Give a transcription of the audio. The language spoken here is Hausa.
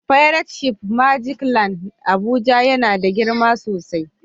fairat shif na " magic land " Abuja yana da girma sosai.